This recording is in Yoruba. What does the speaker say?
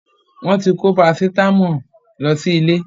Wọ́n ti kó Parasitámọ̀ lọ sí ilé.